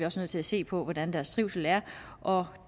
også nødt til at se på hvordan deres trivsel er og